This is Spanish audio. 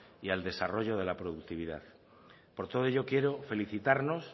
y al desarrollo de la productividad por todo ello quiero felicitarnos